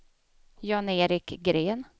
Jan-Erik Gren